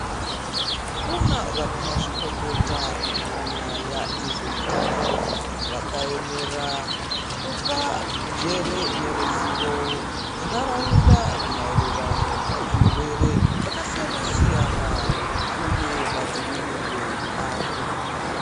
Kunavanamazvikokota munyaya dzezvehutano, vakayemera kupa njere neruzizvo mundharawunda mayererano nezvirwere zvakasiyana siyana, uye madzivirirwe azvo.